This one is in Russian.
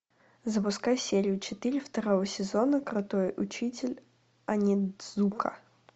запускай серию четыре второго сезона крутой учитель онидзука